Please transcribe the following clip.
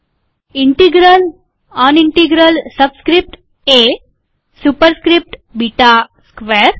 integral an integral subscript a superscript beta square